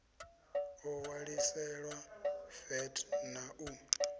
o ṋwaliselwa vat na u